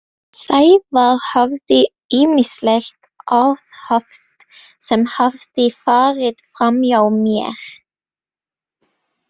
Sævar hafði ýmislegt aðhafst sem hafði farið framhjá mér.